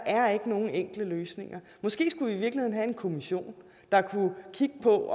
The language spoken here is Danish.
er nogen enkle løsninger måske skulle vi i virkeligheden have en kommission der kunne kigge på